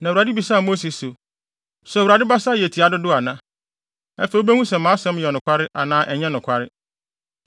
Na Awurade bisaa Mose se, “So Awurade basa yɛ tiaa dodo ana? Afei wubehu sɛ mʼasɛm yɛ nokware anaa ɛnyɛ nokware.”